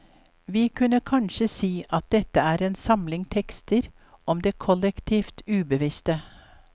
Vi kunne kanskje si at dette er en samling tekster om det kollektivt ubevisste.